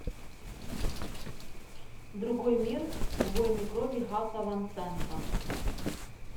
другой мир войны крови гаса ван сента